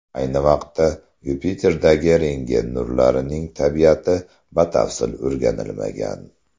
Ayni vaqtda Yupiterdagi rentgen nurlarining tabiati batafsil o‘rganilmagan.